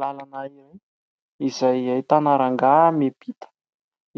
Lalana iray izay ahitana rangahy miampita,